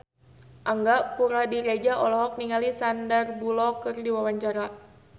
Angga Puradiredja olohok ningali Sandar Bullock keur diwawancara